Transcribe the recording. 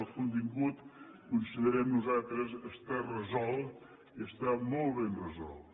el contingut considerem nosaltres està resolt i està molt ben resolt